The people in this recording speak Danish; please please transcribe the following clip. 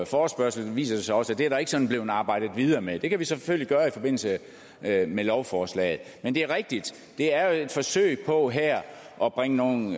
forespørgsel viser det sig også at der ikke sådan er blevet arbejdet videre med det det kan vi selvfølgelig gøre i forbindelse med lovforslaget men det er rigtigt at det er et forsøg på her at bringe nogle